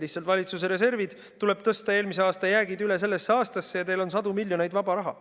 Lihtsalt valitsuse reservist tuleb tõsta eelmise aasta jäägid üle sellesse aastasse, ja teil on sadu miljoneid vaba raha.